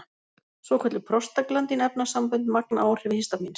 Svokölluð prostaglandín-efnasambönd magna áhrif histamíns.